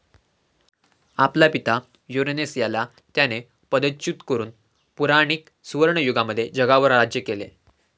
आपला पिता युरनेस याला त्याने पदच्युत करून पुराणीक सुवर्णयुगामध्ये जगावर राज्य केले.